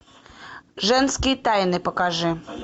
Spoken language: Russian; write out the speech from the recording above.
женские тайны покажи